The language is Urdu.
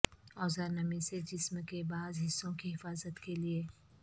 اوزار نمی سے جسم کے بعض حصوں کی حفاظت کے لئے